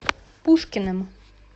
пушкиным